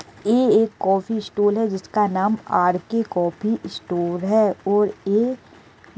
ए एक coffee stall है जिसका नाम आर.के. कॉफी स्टोर है। और एक --